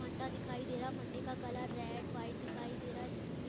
मंडा दिखाई दे रहा है मंडे का कलर रेड वाइट दिखाई दे रहा है इसमें --